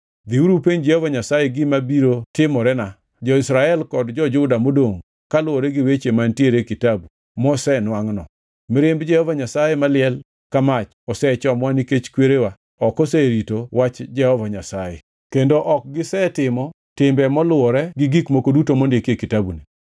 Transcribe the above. “Dhiuru upenj Jehova Nyasaye gima biro timorena, jo-Israel kod jo-Juda modongʼ kaluwore gi weche mantiere e kitabu mosenwangʼno. Mirimb Jehova Nyasaye maliel ka mach osechomowa nikech kwerewa ok oserito wach Jehova Nyasaye; kendo ok gisetimo timbe moluwore gi gik moko duto mondiki e kitabuni.”